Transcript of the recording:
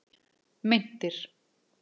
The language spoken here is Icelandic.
Meintir